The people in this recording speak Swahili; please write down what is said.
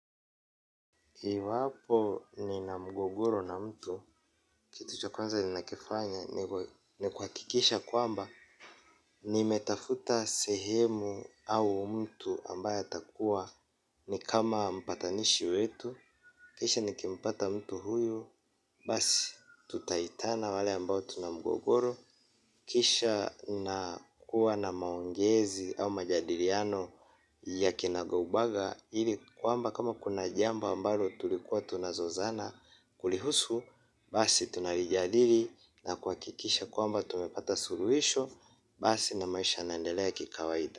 Iwapo nina mgogoro na mtu, kitu cha kwanza nina kifanya ni kuhakikisha kwamba nimetafuta sehemu au mtu ambaye atakua ni kama mpatanishi wetu, kisha ni kimpata mtu huyu, basi tutaitana wale ambao tunamgogoro, kisha nakuwa na maongezi au majadiliano ya kinagaubaga, ili kwamba kama kuna jamba ambalo tulikuwa tunazo zana kulihusu. Basi tunalijadili na kuhakikisha kwamba tumepata suluhisho. Basi na maisha yanaendelea kikawaida.